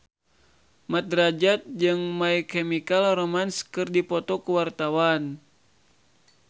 Mat Drajat jeung My Chemical Romance keur dipoto ku wartawan